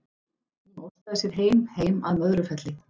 Hún óskaði sér heim, heim að Möðrufelli.